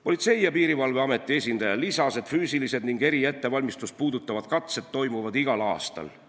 Politsei- ja Piirivalveameti esindaja lisas, et füüsilised ning eriettevalmistust puudutavad katsed toimuvad igal aastal.